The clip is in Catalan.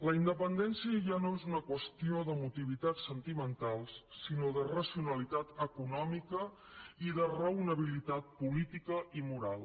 la independència ja no és una qüestió d’emotivitats sentimentals sinó de racionalitat econòmica i de raonabilitat política i moral